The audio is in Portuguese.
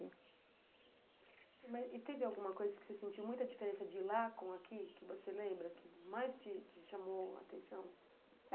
né. E teve alguma coisa que você sentiu muita diferença de ir lá com aqui, que você lembra, que mais te te chamou a atenção?